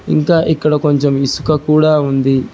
ఇంకా ఇక్కడ కొంచెం ఇసుక కూడా ఉంది.